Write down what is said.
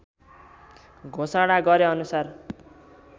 घोषणा गरे अनुसार